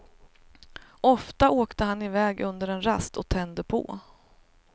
Ofta åkte han i väg under en rast och tände på.